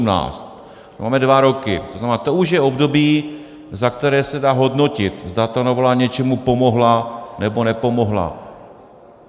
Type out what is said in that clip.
Máme dva roky, to znamená, to už je období, za které se dá hodnotit, zda ta novela něčemu pomohla, nebo nepomohla.